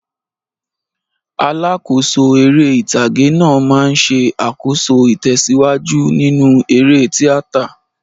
Alákòóso eré ìtàgé náà máa ń ṣe àkóso ìtẹ̀síwájú nínú eré tíátà.